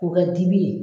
O kɛ dibi ye